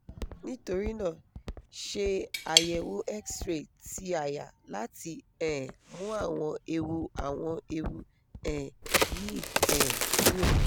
nitorina se ayewoxray ti aya lati um mu awon ewu awon ewu um yi um kuro